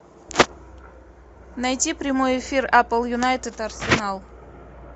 найти прямой эфир апл юнайтед арсенал